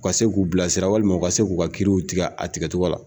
U ka se a se k'u bilasira , walima u ka se k'u ka kiriw tigɛ a tigɛ cogo la.